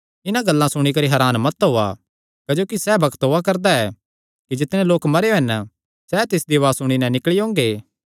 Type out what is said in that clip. इन्हां गल्लां सुणी करी हरान मत होआ क्जोकि सैह़ बग्त ओआ करदा ऐ कि जितणे लोक मरेयो हन सैह़ तिसदी उआज़ सुणी नैं निकल़ी ओंगे